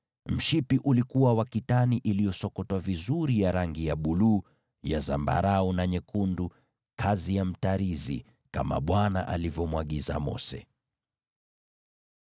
Mshipi ulikuwa wa kitani iliyosokotwa vizuri ya rangi ya buluu, na zambarau, na nyekundu, kazi ya mtarizi, kama Bwana alivyomwagiza Mose.